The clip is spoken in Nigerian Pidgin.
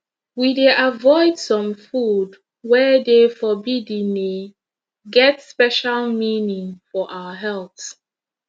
we dey avoid some food wey de forbiddene get special meaning for our health